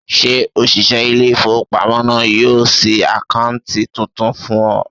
Ṣé òṣìṣẹ́ ilé-ìfowópamọ́sí náà yóò ṣí àkáǹtì tuntun fún ọ?